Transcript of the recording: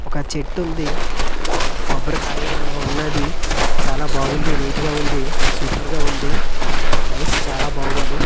ఒక చెట్టుంది ఒక కొబ్బరికాయ ఉన్నది చాలా బాగుంది నీట్ గా ఉంది సూపర్ గా ఉంది నైస్ చాలా బాగుంది.